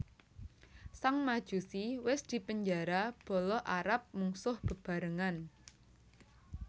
Sang Majusi wis dipenjara bala Arab mungsuh bebarengan